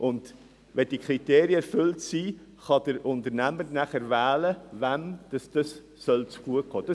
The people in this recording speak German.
Wenn diese Kriterien erfüllt sind, kann der Unternehmer wählen, wem dieses Geld zugutekommen soll.